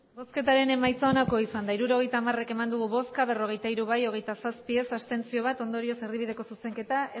hirurogeita hamar eman dugu bozka berrogeita hiru bai hogeita zazpi ez bat abstentzio ondorioz erdibideko zuzenketa